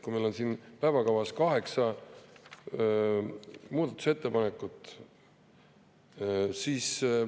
Meil on päevakavas kaheksa muudatusettepanekut.